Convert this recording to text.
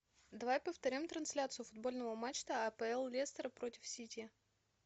давай повторим трансляцию футбольного матча апл лестер против сити